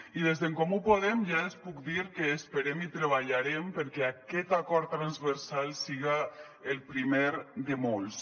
i des d’en comú podem ja els puc dir que esperem i treballarem perquè aquest acord transversal siga el primer de molts